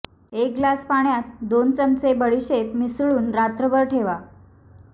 एक ग्लास पाण्यात दोन चमचे बडीशेप मिसळून रात्रभर ठेवा